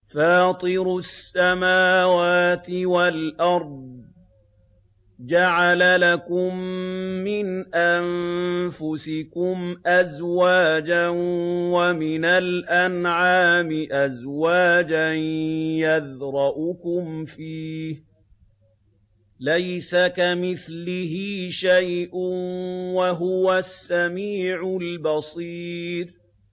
فَاطِرُ السَّمَاوَاتِ وَالْأَرْضِ ۚ جَعَلَ لَكُم مِّنْ أَنفُسِكُمْ أَزْوَاجًا وَمِنَ الْأَنْعَامِ أَزْوَاجًا ۖ يَذْرَؤُكُمْ فِيهِ ۚ لَيْسَ كَمِثْلِهِ شَيْءٌ ۖ وَهُوَ السَّمِيعُ الْبَصِيرُ